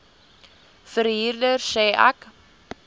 verhuurder sê ek